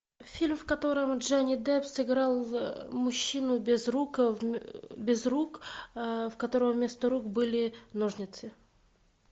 фильм в котором джонни депп сыграл в мужчину без рук без рук у которого вместо рук были ножницы